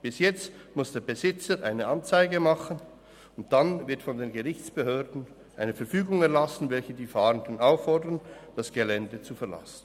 Bis jetzt muss der Besitzer Anzeige erstatten, und dann wird von den Gerichtsbehörden eine Verfügung erlassen, welche die Fahrenden auffordert, das Gelände zu verlassen.